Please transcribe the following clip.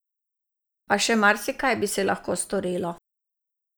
A še marsikaj bi se lahko storilo!